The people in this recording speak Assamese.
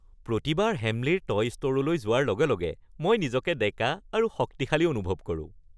প্ৰতিবাৰ হেমলীৰ টয় ষ্ট’ৰলৈ যোৱাৰ লগে লগে মই নিজকে ডেকা আৰু শক্তিশালী অনুভৱ কৰোঁ!